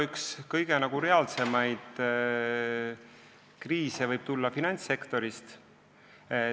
Üks kõige reaalsemaid kriise võib tulla finantssektorist.